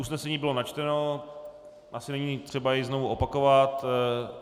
Usnesení bylo načteno, asi není třeba jej znovu opakovat.